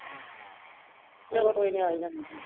ਚਲੋ ਕੋਈ ਨੀ ਆ ਈ ਜਾਣਾ